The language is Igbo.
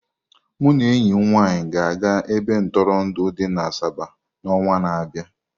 Mụ na enyi m nwanyị ga-aga ebe ntụrụndụ dị na Asaba n'ọnwa na-abịa.